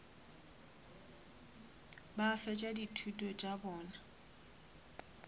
ba fetša dithuto tša bona